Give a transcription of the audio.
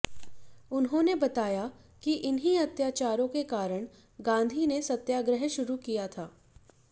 उन्होंने बताया कि इन्हीं अत्याचारों के कारण गांधी ने सत्याग्रह शुरू किया था